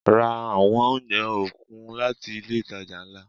Ra àwọn oúnjẹ okun láti ilé itàjà ńlá.